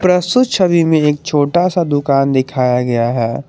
प्रस्तुत छवि में एक छोटा सा दुकान दिखाया गया है।